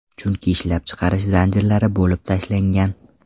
Chunki ishlab chiqarish zanjirlari bo‘lib tashlangan.